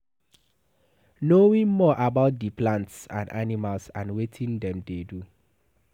Knowing more about di plants and animals and wetin dem dey do